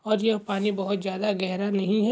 और यह पानी बहुत ज्यादा गहरा नहीं है।